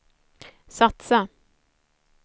satsa